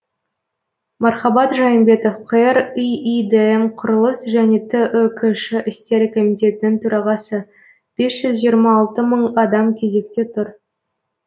мархабат жайымбетов қр иидм құрылыс және түкш істері комитетінің төрағасы бес жүз жиырма алты мың адам кезекте тұр